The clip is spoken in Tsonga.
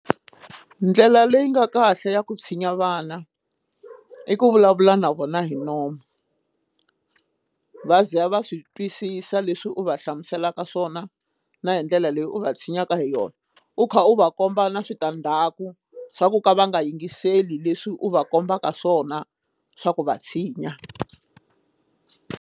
Ndlela leyi nga kahle ya ku tshinya vana i ku vulavula na vona hi nomu va ze va swi twisisa leswi u va hlamuselaka swona na hi ndlela leyi u va tshinyaka hi yona u kha u va komba na switandzhaku swa ku ka va nga yingiseli leswi u va kombaka swona swa ku va tshinya.